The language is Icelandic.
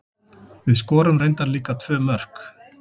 Við skorum reyndar líka tvö mörk.